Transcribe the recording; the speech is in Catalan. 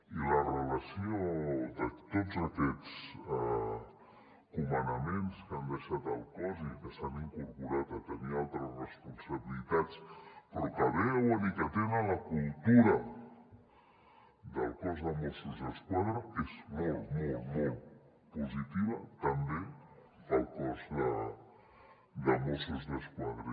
i la relació de tots aquests comandaments que han deixat el cos i que s’han incorporat a tenir altres responsabilitats però que beuen i que tenen la cultura del cos de mossos d’esquadra és molt molt molt positiva també per al cos de mossos d’esquadra